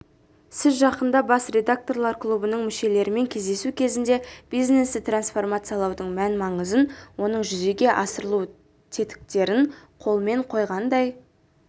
сіз жақында бас редакторлар клубының мүшелерімен кездесу кезінде бизнесті трансформациялаудың мән-маңызын оның жүзеге асырылу тетіктерін қолмен қойғандай